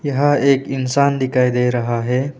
यहाँ एक इंसान दिखाई दे रहा है।